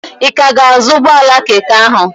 Ị ka ga-azụ ụgbọala keke ahụ?